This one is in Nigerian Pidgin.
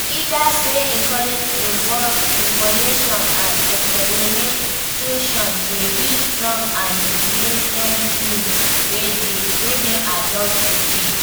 Leaders wey encourage innovation and experimentation dey build strong and resilient teams wey dey adapt to change.